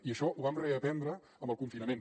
i això ho vam reaprendre amb el confinament